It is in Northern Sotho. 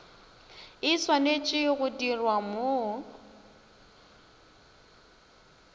e swanetše go dirwa mo